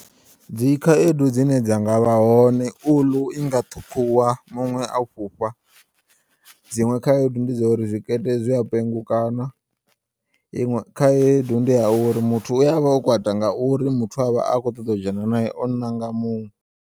Dzikhaedu dzine dza ngavha hone, uḽu inga ṱhukhuwa muṅwe a fhufha, dziṅwe khaedu ndi dzauri zwikete zwia pengukana, iṅwe khaedu ndiya uri muthu u yavha o kwata ngauri muthu eavha akho ṱoḓo dzhena naye o nanga muṅwe.